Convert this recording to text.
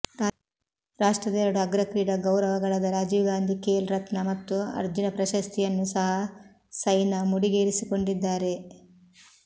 ರಾಷ್ಟ್ರದ ಎರಡು ಅಗ್ರ ಕ್ರೀಡಾ ಗೌರವಗಳಾದ ರಾಜೀವ್ ಗಾಂಧಿ ಖೇಲ್ ರತ್ನ ಮತ್ತು ಅರ್ಜುನ ಪ್ರಶಸ್ತಿಯನ್ನೂ ಸಹ ಸೈನಾ ಮುಡಿಗೇರಿಸಿಕೊಂಡಿದ್ದಾರೆ